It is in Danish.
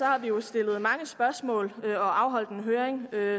har vi jo stillet mange spørgsmål og afholdt en høring